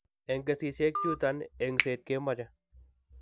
En kesiisyek chuton, engset kemoche.